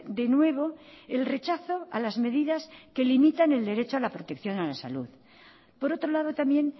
de nuevo el rechazo a las medidas que limitan el derecho a la protección a la salud por otro lado también